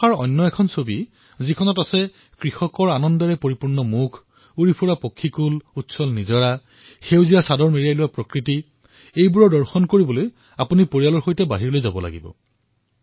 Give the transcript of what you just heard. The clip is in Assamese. বাৰিষাৰ দ্বিতীয়খন ছবি যত আমাৰ কৃষকসকল আনন্দিত হৈ উঠে পক্ষীয়ে উমলে বৈ থকা জুৰি সেউজীয়া চাদৰ পিন্ধা ধৰিত্ৰী এয়া প্ৰত্যক্ষ কৰাৰ বাবে আপোনালোকে নিজেই পৰিয়ালৰ সৈতে বাহিৰলৈ ওলাব লাগিব